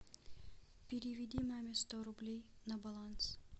переведи маме сто рублей на баланс